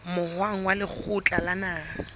moahong wa lekgotla la naha